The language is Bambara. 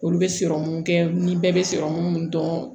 Olu bɛ kɛ ni bɛɛ bɛ sɔrɔmu mun dɔn